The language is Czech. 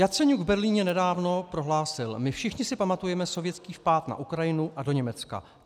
Jaceňuk v Berlíně nedávno prohlásil: My všichni si pamatujeme sovětský vpád na Ukrajinu a do Německa.